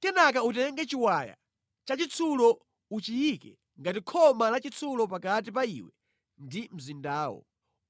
Kenaka utenge chiwaya chachitsulo uchiyike ngati khoma lachitsulo pakati pa iwe ndi mzindawo.